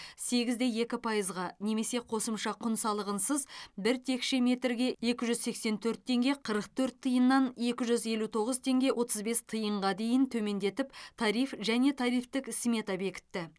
сегіз де екі пайызға немесе қосымша құн салығынсыз бір текше метрге екі жүз сексен төрт теңге қырық төрт тиыннан екі жүз елу тоғыз теңге отыз бес тиынға дейін төмендетіп тариф және тарифтік смета бекітті